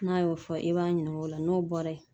N'a y'o fɔ i b'a ɲininka o la n'o bɔra yen